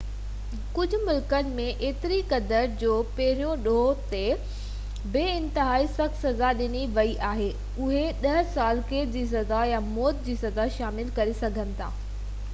ڪجهہ ملڪن ۾ ايتري قدر جو پهرين ڏوهہ تي بہ انتهائي سخت سزا ڏني ويئي آهي اهي 10 سال قيد جي سزا يا موت جي سزا شامل ڪري سگهن ٿا